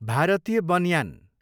Bharatiya banyan